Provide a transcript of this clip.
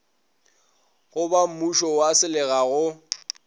go bammušo wa selega go